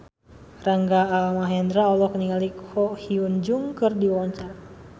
Rangga Almahendra olohok ningali Ko Hyun Jung keur diwawancara